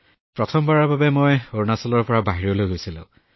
gamer ji হয় মই প্ৰথমবাৰৰ বাবে অৰুণাচলৰ পৰা বাহিৰলৈ গৈছিলো